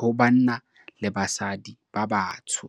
ho banna le basadi ba batsho.